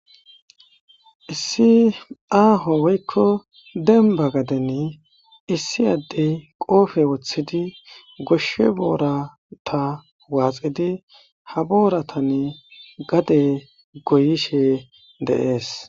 Issi aaho woykko dembba gadden issi addey qope woththidii gooshshe boorata woxidi ha booratan gadde goyishe de'es